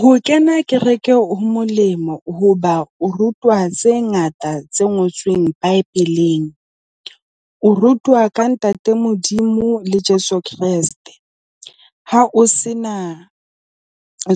Ho kena kereke ho molemo hoba o rutwa tse ngata tse ngotsweng bibeleng. O rutwa ka ntate Modimo le Jeso Kreste. Ha o sena